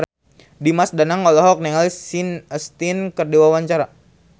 Dimas Danang olohok ningali Sean Astin keur diwawancara